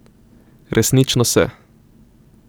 Resnično se.